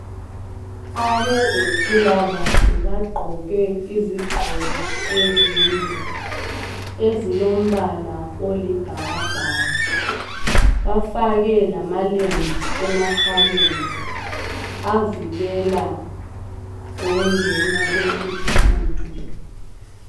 Abezempilakahle bagqoke izigqoko ezinde ,ezilombala olibhakabhaka .Bafake lamalembu emakhaleni avikela ukungena kwenkuthu nkuthu.